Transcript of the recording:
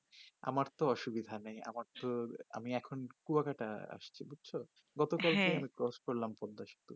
আমার তো অসুবিধা নেই আমার তো আমি এখন কুয়াঘাটা আসছি বুজছো হ্যা গতকাল কে আমি crosh করলাম পদ্দাসেতু